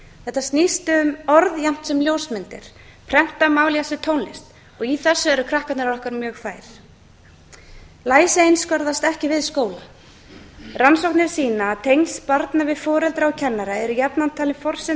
þetta snýst um orð jafnt sem ljósmyndir prentað mál jafnt sem tónlist í þessu eru krakkarnir okkar mjög fær læsi einskorðast ekki við skóla rannsóknir sýna að tengsl barna við foreldra og kennara eru jafnan talin forsenda fyrir